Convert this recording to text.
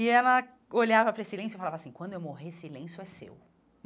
E ela olhava para esse lenço e falava assim, quando eu morrer, esse lenço é seu.